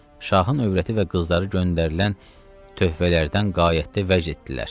Şahın övrəti və qızları göndərilən töhfələrdən qəyətdə vəz etdilər.